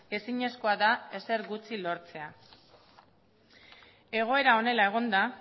ezinezkoa da ezer gutxi lortzea egoera honela egonda